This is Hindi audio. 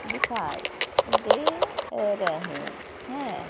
दिखाई दे रहे है।